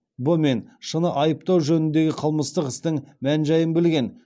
б мен ш ны айыптау жөніндегі қылмыстық істің мән жайын білген